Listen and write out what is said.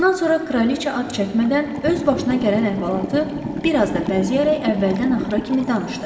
Bundan sonra kraliça ad çəkmədən öz başına gələn əhvalatı bir az da bəzəyərək əvvəldən axıra kimi danışdı.